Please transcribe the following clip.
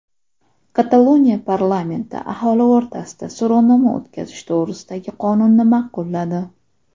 Kataloniya parlamenti aholi o‘rtasida so‘rovnoma o‘tkazish to‘g‘risidagi qonunni ma’qulladi.